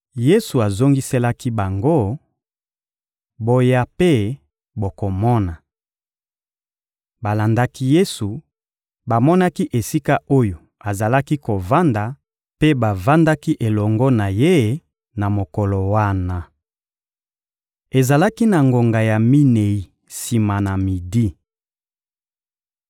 Yesu azongiselaki bango: — Boya mpe bokomona. Balandaki Yesu, bamonaki esika oyo azalaki kovanda mpe bavandaki elongo na Ye na mokolo wana. Ezalaki na ngonga ya minei sima na midi.